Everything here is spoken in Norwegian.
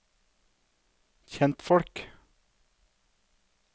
kjentfolk